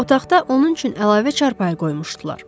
Otaqda onun üçün əlavə çarpayı qoymuşdular.